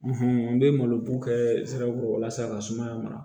n bɛ malo kɛ sira kɔrɔ walasa ka sumaya mara